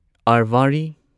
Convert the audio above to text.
ꯑꯔꯚꯥꯔꯤ